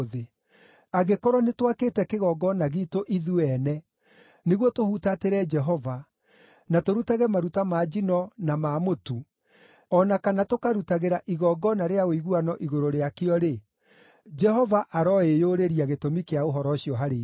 Angĩkorwo nĩtwakĩte kĩgongona giitũ ithuĩ ene nĩguo tũhutatĩre Jehova, na tũrutage maruta ma njino na ma mũtu, o na kana tũkarutagĩra igongona rĩa ũiguano igũrũ rĩakĩo-rĩ, Jehova aroĩyũrĩria gĩtũmi kĩa ũhoro ũcio harĩ ithuĩ.